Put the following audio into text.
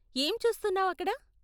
ఏం చూస్తున్నావ్ అక్కడ?